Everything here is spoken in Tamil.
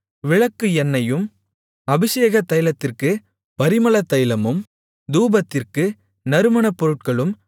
விளக்குக்கு எண்ணெயும் அபிஷேகத்தைலத்திற்கு பரிமளத்தைலமும் தூபத்திற்கு நறுமணப் பொருட்களும்